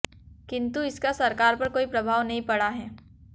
किंतु इसका सरकार पर कोई प्रभाव नहीं पड़ा है